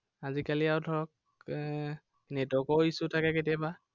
আজিকালি আৰু ধৰক, এৰ network ৰো issue থাকে কেতিয়াবা।